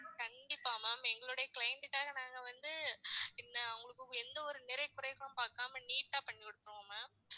கண்டிப்பா ma'am எங்களுடைய client க்காக நாங்க வந்து இந்த அவங்களுக்கு எந்த ஒரு நிறை குறைகளும் பார்க்காம neat ஆ பண்ணி விட்டுருவோம் ma'am